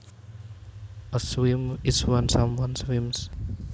A swim is when someone swims